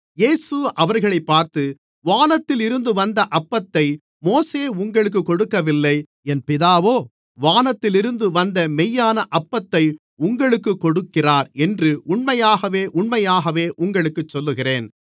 இயேசு அவர்களைப் பார்த்து வானத்திலிருந்து வந்த அப்பத்தை மோசே உங்களுக்குக் கொடுக்கவில்லை என் பிதாவோ வானத்திலிருந்து வந்த மெய்யான அப்பத்தை உங்களுக்குக் கொடுக்கிறார் என்று உண்மையாகவே உண்மையாகவே உங்களுக்குச் சொல்லுகிறேன்